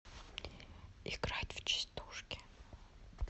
играть в частушки